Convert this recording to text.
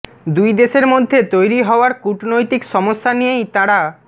দুই দেশের মধ্যে তৈরি হওয়ার কূটনৈতিক সমস্যা নিয়েই তাঁরা